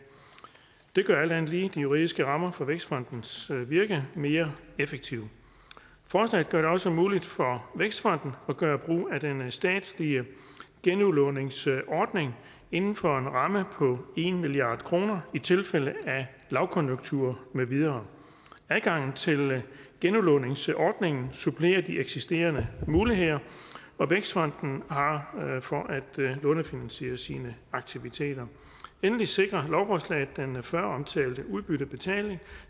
det gør alt andet lige de juridiske rammer for vækstfondens virke mere effektivt forslaget gør det også muligt for vækstfonden at gøre brug af den statslige genudlåningsordning inden for en ramme på en milliard kroner i tilfælde af lavkonjunktur med videre adgangen til genudlåningsordningen supplerer de eksisterende muligheder vækstfonden har for at lånefinansiere sine aktiviteter endelig sikrer lovforslaget den før omtalte udbyttebetaling